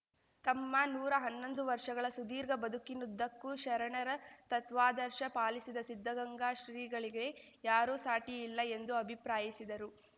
ತಮ್ಮ ನೂರಾ ಹನ್ನೊಂದು ವರ್ಷಗಳ ಸುದೀರ್ಘ ಬದುಕಿನುದ್ದಕ್ಕೂ ಶರಣರ ತತ್ವಾದರ್ಶ ಪಾಲಿಸಿದ ಸಿದ್ಧಗಂಗಾ ಶ್ರೀಗಳಿಗೆ ಯಾರೂ ಸಾಟಿ ಇಲ್ಲ ಎಂದು ಅಭಿಪ್ರಾಯಿಸಿದರು